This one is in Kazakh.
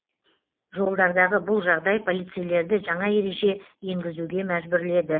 жолдардағы бұл жағдай полицейлерді жаңа ереже енгізуге мәжбүрледі